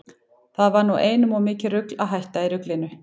Það var nú einum of mikið rugl að hætta í ruglinu.